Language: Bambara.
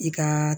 I ka